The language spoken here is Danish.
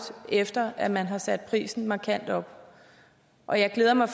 efter at man har sat prisen markant op og jeg glæder mig